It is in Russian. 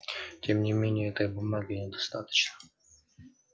тем не менее этой бумаги недостаточно